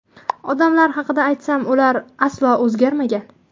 Odamlar haqida aytsam, ular aslo o‘zgarmagan.